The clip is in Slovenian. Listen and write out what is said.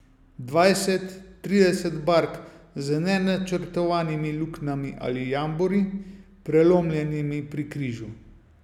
Dvajset, trideset bark z nenačrtovanimi luknjami ali jambori, prelomljenimi pri križu.